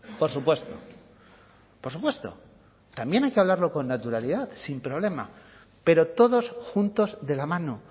por supuesto por supuesto también hay que hablarlo con naturalidad sin problema pero todos juntos de la mano